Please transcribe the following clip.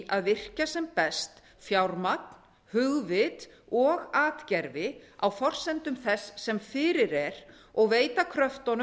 að virkja sem best fjármagn hugvit og atgervi á forsendum þess sem fyrir er og veita kröftunum